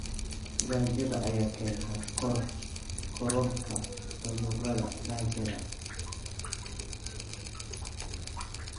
Gaajada ayaa keenta kororka cudurrada gaajada.